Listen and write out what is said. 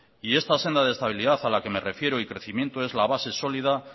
y esta senda de estabilidad a la que me refiero y crecimiento es la base sólida